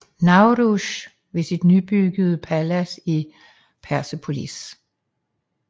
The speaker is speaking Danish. Nowruz ved sit nybyggede palads i Persepolis